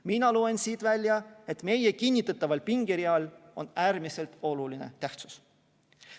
Mina loen siit välja, et meie kinnitataval pingereal on äärmiselt oluline tähtsus.